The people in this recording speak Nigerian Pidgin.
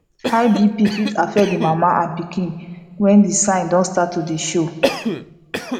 high bp fit affect the mama and pikin when the sign don start to dey show